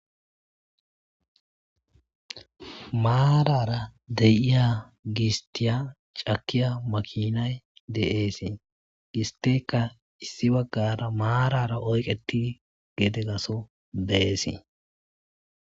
maarara deyiya giistiya cakiya makinay de7eesii gisteka issi baggara maarara oyqeti gede gaso deeesii